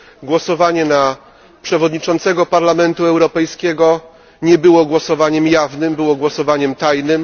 Głosowanie przy wyborze przewodniczącego Parlamentu Europejskiego nie było głosowaniem jawnym było głosowaniem tajnym.